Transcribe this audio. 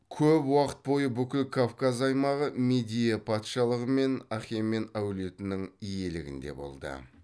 көп уақыт бойы бүкіл кавказ аймағы мидия патшалығы мен ахемен әулетінің иелігінде болды